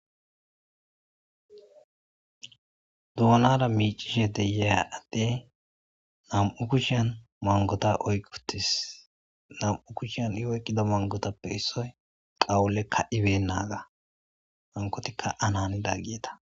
duonara miicishe deya adde nam7u kushan mangota oykqotis nam7u kushan i oykkida mangotappe issoy qawullekka ibennaga hankotikka anani daggieta